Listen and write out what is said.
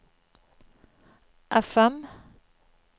FM